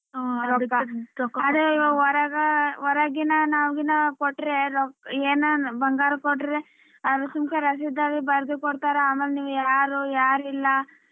ಅದು ಹೊರೆಗ ಹೊರಗಿನ ಕೊಟ್ರೆ ಏನಾನ್ ಬಂಗಾರ ಕೊಟ್ರೆ ರಷಿದ್ಯಾಗ ಬರ್ದು ಕೊಡ್ತಾರಾ ಅಮೇಲ್ ನೀವ್ ಯಾರು ಯಾರಿಲ್ಲ.